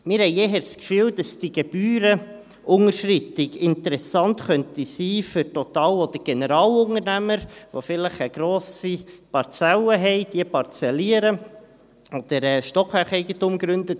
Wir haben eher das Gefühl, dass die Gebührenunterschreitung für Total- oder Generalunternehmen interessant sein könnte, die vielleicht eine grosse Parzelle haben, diese parzellieren oder Stockwerkeigentum begründen.